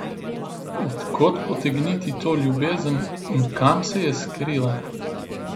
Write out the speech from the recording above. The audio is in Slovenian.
Od kod potegniti to ljubezen in kam se je skrila?